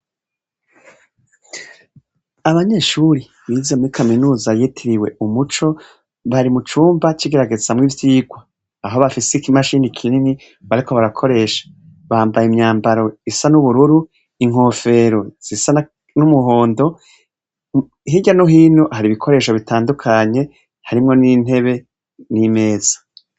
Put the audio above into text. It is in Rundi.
Abanyeshure bize muri Kaminuza yitiriwe Umuco, bari mucumba cigeragezamwo ivyigwa, aho bafise ikimashine kinini bariko barakoresha bambaye imyambaro isa n'ubururu inkofero zisa n'umuhondo hirya no hino hari ibikoresho bitandukanye harimwo n'intebe n'imeza.